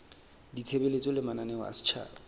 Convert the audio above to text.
ditshebeletso le mananeo a setjhaba